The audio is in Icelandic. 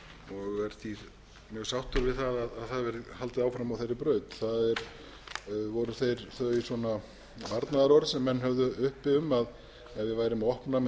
og er því mjög sáttur við að haldið verði áfram á þeirri braut það voru þau varnaðarorð sem menn höfðu uppi um að ef við værum að opna með